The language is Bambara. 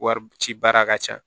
Wari ci baara ka ca